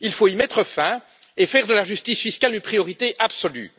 Il faut y mettre un terme et faire de la justice fiscale une priorité absolue.